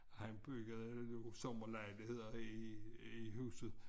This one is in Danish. Han byggede sommerlejligheder i i huset